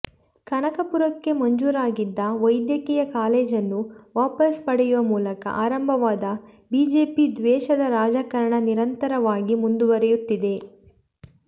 ಕನಕಪುರಕ್ಕೆ ಮಂಜೂರಾಗಿದ್ದ ವೈದ್ಯಕೀಯ ಕಾಲೇಜನ್ನು ವಾಪಸ್ ಪಡೆಯುವ ಮೂಲಕ ಆರಂಭವಾದ ಬಿಜೆಪಿ ದ್ವೇಷದ ರಾಜಕಾರಣ ನಿರಂತರವಾಗಿ ಮುಂದುವರಿಯುತ್ತಿದೆ